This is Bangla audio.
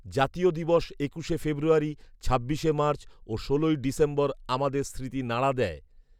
জাতীয় দিবস একুশে ফেব্রুয়ারি, ছাব্বিশে মার্চ ও ষোলোই ডিসেম্বর আমাদের স্মৃতি নাড়া দেয়